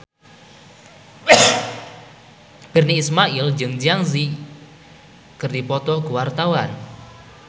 Virnie Ismail jeung Zang Zi Yi keur dipoto ku wartawan